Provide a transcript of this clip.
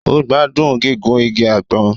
O gbádùn gígùn ìgi àgbon